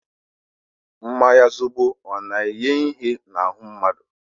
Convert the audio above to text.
Mmanya zobo ọ na-enye ihe n'ahu mmadu?